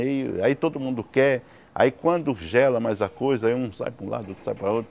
Aí aí todo mundo quer, aí quando gela mais a coisa, aí um sai para um lado, o outro sai para o outro.